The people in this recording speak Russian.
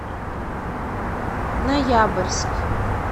ноябрьск